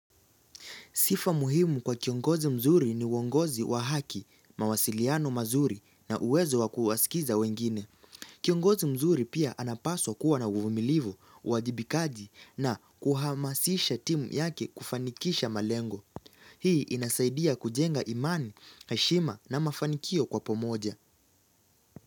Sifa muhimu kwa kiongozi mzuri ni uongozi wa haki, mawasiliano mazuri na uwezo wa kuwasikiza wengine. Kiongozi mzuri pia anapaswa kuwa na uvumilivu, uwajibikaji na kuhamasisha timu yake kufanikisha malengo. Hii inasaidia kujenga imani, heshima na mafanikio kwa pamoja.